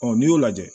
n'i y'o lajɛ